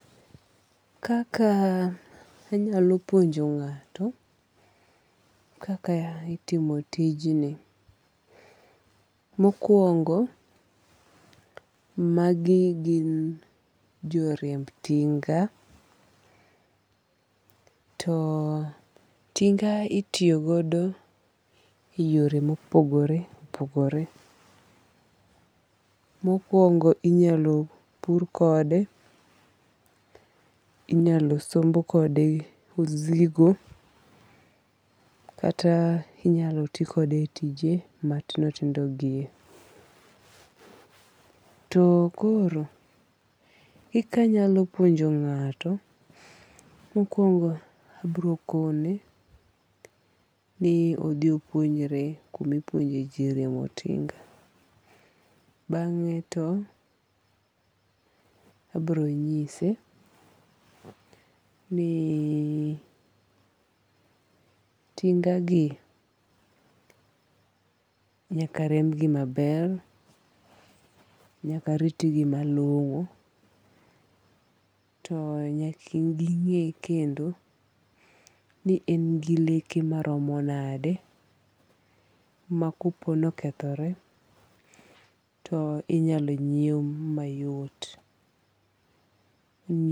Kaka anyalo puonjo ng'ato kaka itimo tijni. Mokwongo magi gin jo riemb tinga. To tinga itiyogodo e yore mopogore opogore. Mokwongo inyalo pur kode, inyalo somb kode osigo. Kata inyalo ti kode tije matindo tindo gi. To koro kikanyalo puonjo ng'ato, mokwongo abiro kone ni odhi opuonjre kumipuonje ji riembo tinga. Bang'e to abiro nyise ni tinga gi nyaka riemb gi maber. Nyaka rit gi malong'o. To nyaki ging'e kendo ni en gi leke maromo nade ma kopo nokethore tinyalo nyiew mayot.